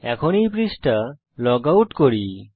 এখন এই পৃষ্ঠা লগ আউট করি